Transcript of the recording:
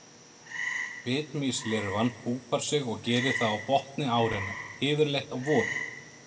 Bitmýslirfan púpar sig og gerir það á botni árinnar, yfirleitt á vorin.